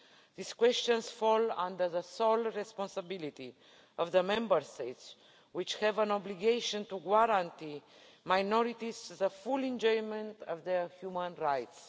These questions fall under the sole responsibility of the Member States, which have an obligation to guarantee minorities the full enjoyment of their human rights.